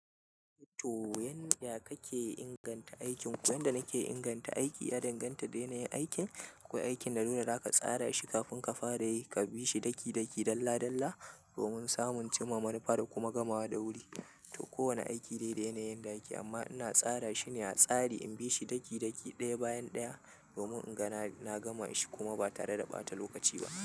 To, yanda kake inganta aikin? Yanda nake inganta aiki, ya danganta da yanayin aikin, ko aikin da nuna zaka tsara shi kafin ka fara yi, ka bi shi daki daki, dalla dalla, domin samun cimaman fa'ida kuma gamawa da wuri. To, kowane aiki dai yanayin da ake, amma ina tsara shine a tsari in bi shi daki daki, daya bayan daya, domin ingana na gama shi kuma ba tare da ɓata lokaci ba.